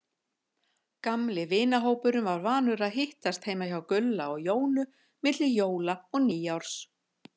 Gamli vinahópurinn var vanur að hittast heima hjá Gulla og Jónu milli jóla og nýárs.